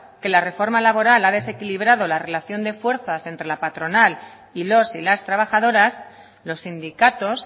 que la reforma laboral ha desequilibrado la relación de fuerzas entre la patronal y los y las trabajadoras los sindicatos